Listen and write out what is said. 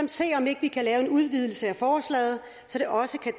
se om ikke vi kan lave en udvidelse af forslaget så det også kan